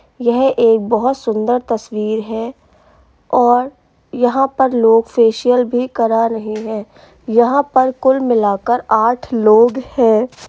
यह एक बोहोत बहो सुंदर तस्वीर है और यहाँ पर लोग फेशियल भी करा रहे हैं। यहाँ पर कुल मिलाकर आठ लोग हैं।